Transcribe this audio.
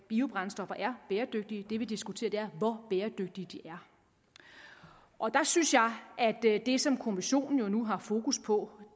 biobrændstoffer er bæredygtige det vi diskuterer er hvor bæredygtige de er og der synes jeg at det som kommissionen nu har fokus på